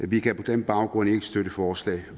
vi kan på den baggrund ikke støtte forslaget